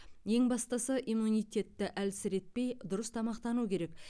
ең бастысы иммунитетті әлсіретпей дұрыс тамақтану керек